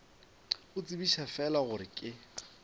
go tsebiša fela gore ke